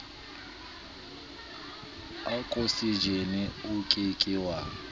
okosejene o ke ke wa